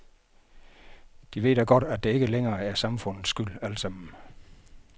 De ved da godt, at det ikke længere er samfundets skyld altsammen.